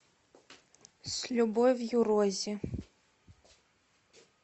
с любовью рози